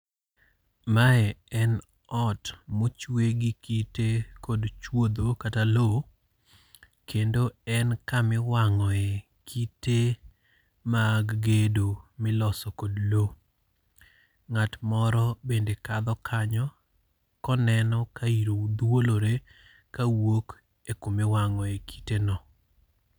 Mae en ot mochwe gi kite kod chwodho kata lowo, Kendo en kama iwang'oe kite mag gedo. Miloso kod lowo. Ng'at moro bende kadho kanyo, koneno ka iro dhuolore ka wuok e kuma iwangoe kite no.